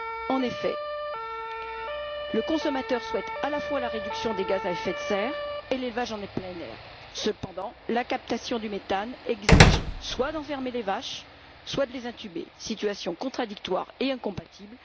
En effet, le consommateur souhaite, à la fois la réduction des gaz à effet de serre et l'élevage en plein air. Cependant la captation du méthane exige soit d'enfermer les vaches, soit de les intuber, situation contradictoire et incompatible.